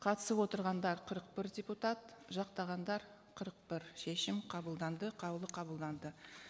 қатысып отырғандар қырық бір депутат жақтағандар қырық бір шешім қабылданды қаулы қабылданды